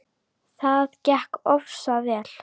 Það gekk oftast vel.